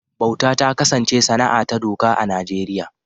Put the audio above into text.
Bauta ta kasance sana’a ta doka a Najeriya